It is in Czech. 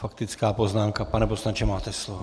Faktická poznámka, pane poslanče, máte slovo.